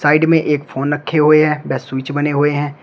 Side में एक phone रखे हुए हैं वे स्विच बने हुए हैं।